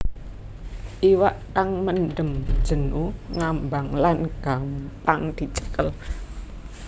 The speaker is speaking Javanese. Iwak kang mendem jenu ngambang lan gampang dicekel